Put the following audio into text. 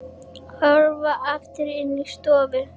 Hörfar aftur inn í stofu.